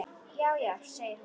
Já, já segir hún.